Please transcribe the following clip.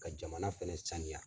Ka jamana fɛnɛ saniya.